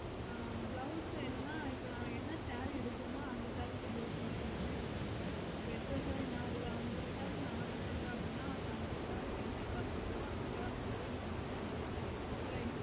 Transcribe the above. ஆஹ் blouse என்னனா இப்போ நம்ம என்ன saree எடுக்குறேனோ அந்த saree ல blouse எல்லாமே குடுங்க இப்போ எத்தனை saree ஒரு அம்பது saree ந order பண்றேன் அப்புடின்னா அந்த அம்பது saree கும் என்ன colour இருக்கோ அந்த colour லய குடுங்க